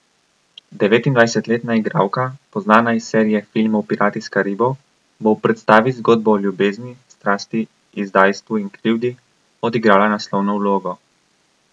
Devetindvajsetletna igralka, poznana iz serije filmov Pirati s Karibov, bo v predstavi z zgodbo o ljubezni, strasti, izdajstvu in krivdi, odigrala naslovno vlogo.